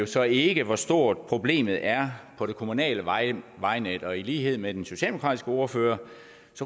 så ikke hvor stort problemet er på det kommunale vejnet vejnet og i lighed med den socialdemokratiske ordfører